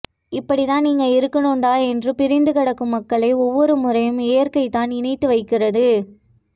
இப்படித்தான் நீங்க இருக்கணும்டா என்று பிரிந்துகிடக்கும் மக்களை ஒவ்வொரு முறையும் இயற்கைதான் இணைத்து வைக்கிறது